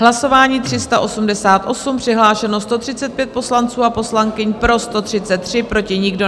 Hlasování 388, přihlášeno 135 poslanců a poslankyň, pro 133, proti nikdo.